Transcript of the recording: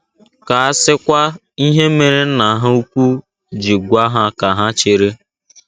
* Ka a sịkwa ihe mere Nna ha ukwu ji gwa ha ka ha chere!